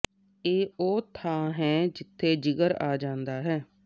ਇਹ ਉਹ ਥਾਂ ਹੈ ਜਿੱਥੇ ਜਿਗਰ ਆ ਜਾਂਦਾ ਹੈ